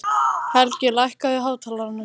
Helgi, lækkaðu í hátalaranum.